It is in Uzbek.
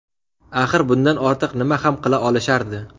Axir bundan ortiq nima ham qila olishardi?